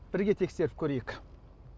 бірге тексеріп көрейік